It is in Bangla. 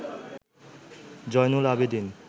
জয়নুল আবেদীন